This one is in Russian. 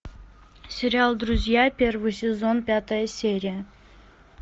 сериал друзья первый сезон пятая серия